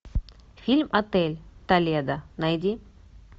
фильм отель толедо найди